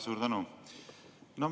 Suur tänu!